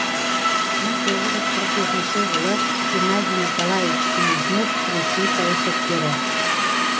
мың тоғыз жүз қырық жетінші жылы геннадий николаевич селезнев ресей саясаткері